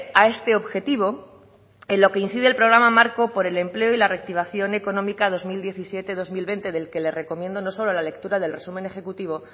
a este objetivo en lo que incide el programa marco por el empleo y la reactivación económica dos mil diecisiete dos mil veinte del que le recomiendo no solo la lectura del resumen ejecutivo